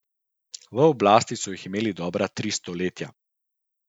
V oblasti so jih imeli dobra tri stoletja.